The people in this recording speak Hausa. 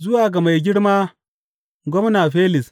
Zuwa ga Mai Girma, Gwamna Felis.